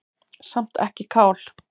Samt ekki kál.